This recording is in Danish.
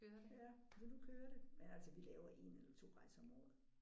Ja så nu kører det men altså vi laver 1 eller 2 rejser om året